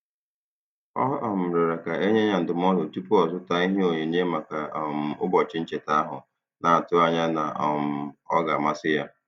Ọ um rịọrọ ka e nye ya ndụmọdụ tupu ọ zụta ihe onyinye maka um ụbọchị ncheta ahụ, na-atụ anya na um ọ ga-amasị ha.